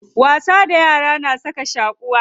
Wasa da yara na saka shaquwa.